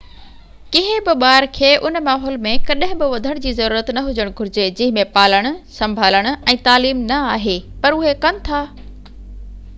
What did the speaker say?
ڪنهن بہ ٻار کي ان ماحول ۾ ڪڏهن بہ وڌڻ جي ضرورت نہ هجڻ گهرجي جنهن ۾ پالڻ سڀالڻ ۽ تعليم نہ آهي پر اهي ڪن ٿا